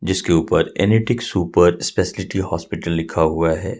जिसके ऊपर एनिटिक सुपर स्पेशियल्टी हॉस्पिटल लिखा हुआ हैं।